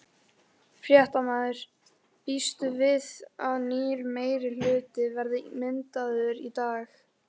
Fréttamaður: Býstu við að nýr meirihluti verði myndaður í dag?